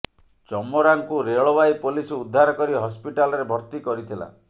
ଚମରାଙ୍କୁ ରେଳବାଇ ପୋଲିସ ଉଦ୍ଧାର କରି ହସ୍ପିଟାଲରେ ଭର୍ତ୍ତି କରିଥିଲା